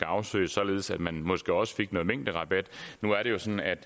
afsøge således at man måske også fik noget mængderabat nu er det jo sådan at